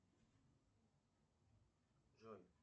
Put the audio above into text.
джой